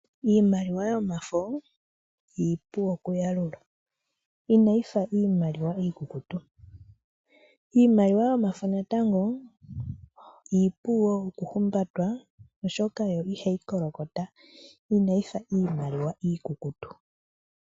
Iimaliwa yomafo iipu okuyalulwa ina yi fa iimaliwa iikukutu. Iimaliwa yomafo natango iipu wo okuhumbatwa oshoka yo iha yi kolokota ina yi fa iimaliwa iikukutu.